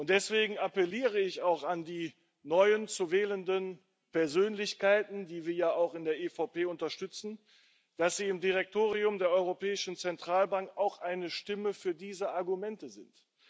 Deswegen appelliere ich auch an die neu zu wählenden Persönlichkeiten, die wir ja auch in der EVP unterstützen, dass sie im Direktorium der Europäischen Zentralbank auch eine Stimme für diese Argumente sind.